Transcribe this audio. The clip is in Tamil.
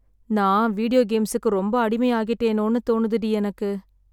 நான் வீடியோ கேம்ஸுக்கு ரொம்ப அடிமை ஆகிட்டேனோன்னு தோனுது டி எனக்கு.